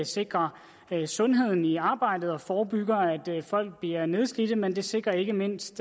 sikrer sundheden i arbejdet og forebygger at folk bliver nedslidte men det sikrer ikke mindst